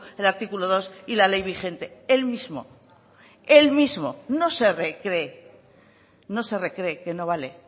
el artículo dos y la ley vigente el mismo el mismo no se recree no se recree que no vale